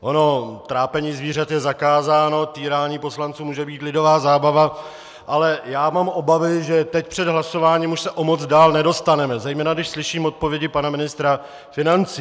Ono trápení zvířat je zakázáno, týrání poslanců může být lidová zábava, ale já mám obavy, že teď před hlasováním už se o moc dál nedostaneme, zejména když slyším odpovědi pana ministra financí.